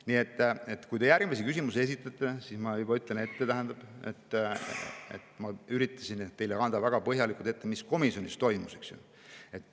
Nii et enne kui te järgmise küsimuse esitate, ma ütlen juba ette, et ma üritasin teile väga põhjalikult ette kanda, mis komisjonis toimus.